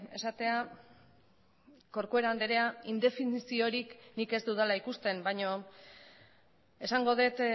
esatea corcuera andrea indefiniziorik nik ez dudala ikusten baino esango dut